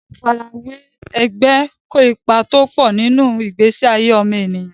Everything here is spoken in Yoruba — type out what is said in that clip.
Àfarawé ẹgbẹ́ kó ipa tọ́pọ̀ nínú ìgbésí ayé ọmọnìyàn.